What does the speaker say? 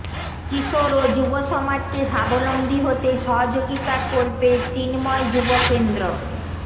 কিশোর ও যুবসমাজকে স্বাবলম্বী হতে সহযোগিতা করবে চিন্ময় যুবকেন্দ্র